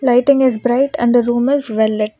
Lighting is bright and the room is well lit.